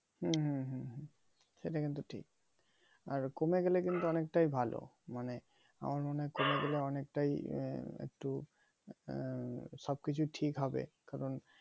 হুম হুম হুম সেটা কিন্তু ঠিক আর কমে গেলে কিন্তু অনেকটাই ভালো মানে আমার মনে হয় কমে গেলে অনেকটাই একটু উম সবকিছু ঠিক হবে